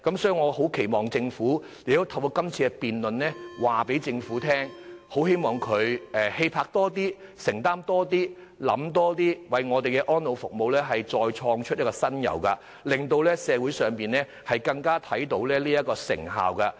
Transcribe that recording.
所以我期望透過今次辯論告訴政府，希望它能以更大氣魄和承擔精神，多想一步，為香港的安老服務再創新猷，在這方面發揮更大的成效。